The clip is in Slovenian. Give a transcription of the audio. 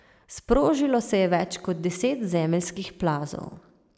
Sprožilo se je več kot deset zemeljskih plazov.